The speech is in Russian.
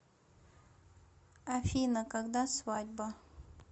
афина когда свадьба